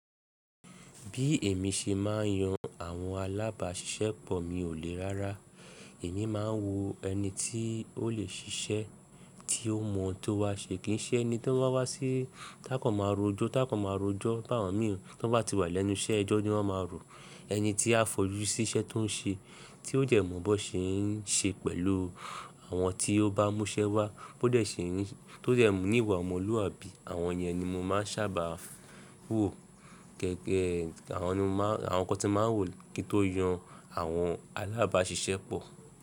Bí èmi ṣe máa ń yan àwọn alábàáṣiṣẹ́pọ̀ mi ò le rárá. Èmi máa ń wò ẹni tí ó lè ṣiṣẹ́, tí ó mọ̀ tó wá ṣe, kì ń ṣe ẹni tí wọ́n wa wá sí, tá kọ́ máa rọjọ́, tá kọ́ máa rọjọ́ bá wọn mìíràn. To bá ti wà lẹ́nu iṣẹ́, ẹjọ ni wọ́n máa rò. Ẹni tí a fojú sí iṣẹ́ tó ń ṣe, tí ó jẹ̀mọ̀ bọ́ ṣe ń ṣe pẹ̀lú àwọn tí ó bá múṣẹ wá, bó dẹ́ ṣe ń ṣe, tó jẹ̀mú ìwà ọmọlúwàbí. Àwọn iyen ni mo máa ń sábà wò gẹ́gẹ́, àwọn nkan tí mo máa ń wò kí n tó yan àwọn alábáàṣiṣẹ́pọ̀.